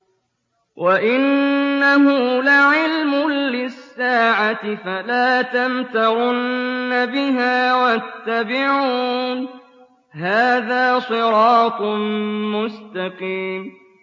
وَإِنَّهُ لَعِلْمٌ لِّلسَّاعَةِ فَلَا تَمْتَرُنَّ بِهَا وَاتَّبِعُونِ ۚ هَٰذَا صِرَاطٌ مُّسْتَقِيمٌ